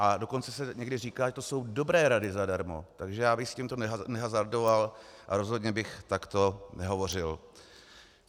A dokonce se někdy říká, že to jsou dobré rady zadarmo, takže já bych s tímto nehazardoval a rozhodně bych takto nehovořil.